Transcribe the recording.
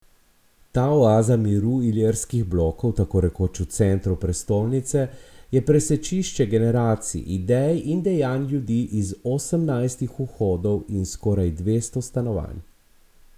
Ta oaza miru Ilirskih blokov tako rekoč v centru prestolnice je presečišče generacij, idej in dejanj ljudi iz osemnajstih vhodov in skoraj dvesto stanovanj.